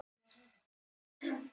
Veistu af hverju?